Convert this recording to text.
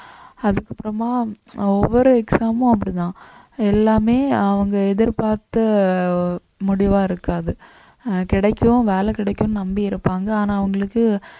அதுக்கப்புறமா ஒவ்வொரு அஹ் exam மும் அப்படித்தான் எல்லாமே அவங்க எதிர்பார்த்த முடிவா இருக்காது ஆஹ் கிடைக்கும் வேலை கிடைக்கும்னு நம்பி இருப்பாங்க ஆனா அவங்களுக்கு